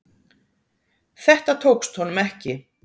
Þetta tókst honum ekki.